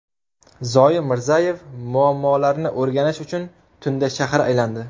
Zoir Mirzayev muammolarni o‘rganish uchun tunda shahar aylandi .